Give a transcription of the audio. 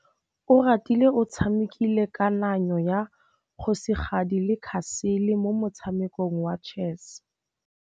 Oratile o tshamekile kananyô ya kgosigadi le khasêlê mo motshamekong wa chess.